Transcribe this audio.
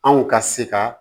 Anw ka se ka